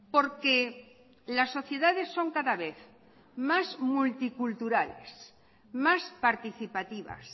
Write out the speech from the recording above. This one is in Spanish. porque las sociedades son cada vez más multiculturales más participativas